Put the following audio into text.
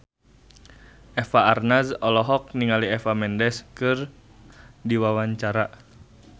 Eva Arnaz olohok ningali Eva Mendes keur diwawancara